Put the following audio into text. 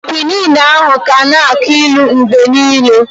Kwinin ahụ ga na-aki ilu mgbe niile.